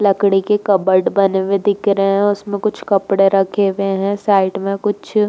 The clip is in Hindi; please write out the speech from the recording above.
लकड़ी के कबोर्ड बने हुए दिख रहे हैं। उसमें कुछ कपड़े रखे हुए दिख रहे हैं। साइड में कुछ --